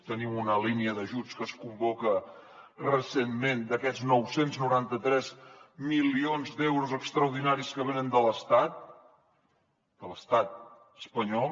tenim una línia d’ajuts que es convoca recentment d’aquests nou cents i noranta tres milions d’euros extraordinaris que venen de l’estat de l’estat espanyol